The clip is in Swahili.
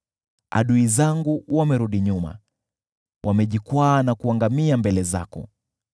Adui zangu wamerudi nyuma, wamejikwaa na kuangamia mbele zako.